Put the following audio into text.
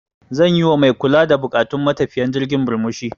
Zan yi wa mai kula da buƙatun matafiyan jirgin murmushi.